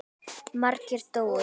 Margir dóu.